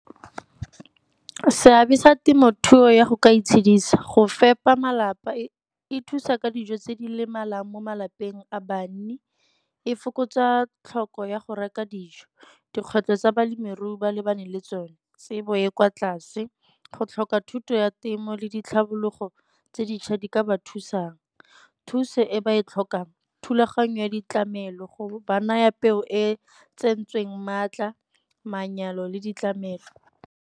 Seabe sa temothuo ya go ka itshedisa go fepa malapa e thusa ka dijo tse di lemalang mo malapeng a banni, e fokotsa tlhoko ya go reka dijo. Dikgwetlho tsa balemirui ba lebane le tsone, tsebo e kwa tlase go tlhoka thuto ya temo le ditlhabologo tse dintšha di ka ba thusang. Thuso e ba e tlhokang, thulaganyo ya ditlamelo go ba naya peo e tsentsweng maatla, manyalo le ditlamelo.